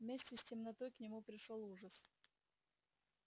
вместе с темнотой к нему пришёл ужас